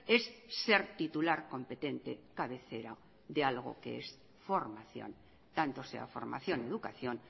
es ser titular competente cabecera de algo que es formación tanto sea formación educación